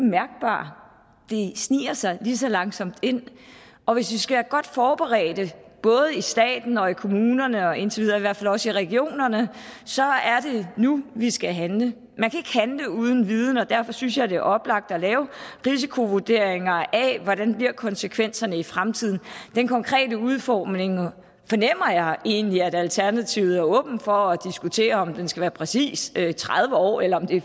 sniger sig lige så langsomt ind og hvis vi skal være godt forberedte både i staten og kommunerne og indtil videre i hvert fald også i regionerne er det nu vi skal handle man kan uden viden og derfor synes jeg det er oplagt at lave risikovurderinger af hvordan konsekvenserne bliver i fremtiden den konkrete udformning fornemmer jeg egentlig at alternativet er åben for at diskutere nemlig om det skal være præcis tredive år eller om det